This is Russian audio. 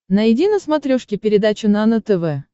найди на смотрешке передачу нано тв